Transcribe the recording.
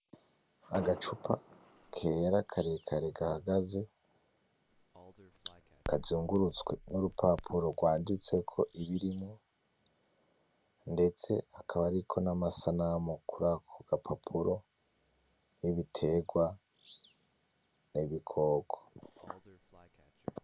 Agacupa, kera karekare gahagaze, kazungurutswe n'urupapuro gwanditseko ibirimwo, ndetse hakaba hariko n'amasanamu kurako gapapuro, y'ibitegwa, n'ibikoko.